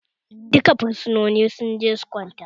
Duka fursunoni su je su kwanta!